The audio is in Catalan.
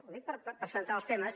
ho dic per centrar els temes